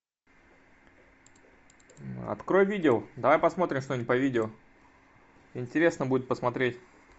открой видео давай посмотрим что нибудь по видео интересно будет посмотреть